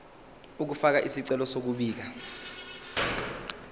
ukufaka isicelo sokubika